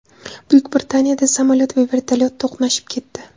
Buyuk Britaniyada samolyot va vertolyot to‘qnashib ketdi.